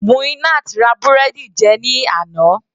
Muinat ra búrẹ́dì jẹun ní àná.